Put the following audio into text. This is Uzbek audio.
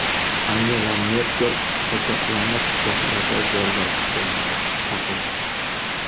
Angela Merkel qochoqlarni qishloqlarda joylashishga chaqirdi.